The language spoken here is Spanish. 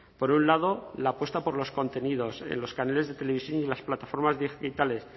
por un lado la apuesta por los contenidos en los canales de televisión y en las plataformas digitales